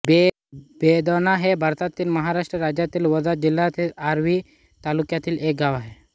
बेधोणा हे भारतातील महाराष्ट्र राज्यातील वर्धा जिल्ह्यातील आर्वी तालुक्यातील एक गाव आहे